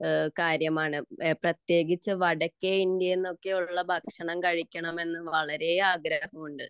കാര്യമാണ് പ്രത്യേകിച്ച് വടക്കേ ഇന്ത്യയിലൊക്കെ ഉള്ള ഭക്ഷണം കഴിക്കണമെന്നു വളരെയധികം ആഗ്രഹമുണ്ട്